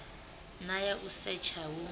na ya u setsha hu